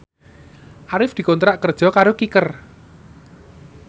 Arif dikontrak kerja karo Kicker